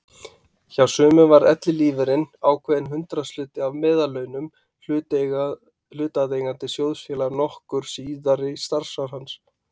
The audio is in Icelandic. Hjá sumum var ellilífeyririnn ákveðinn hundraðshluti af meðallaunum hlutaðeigandi sjóðfélaga nokkur síðari starfsár hans.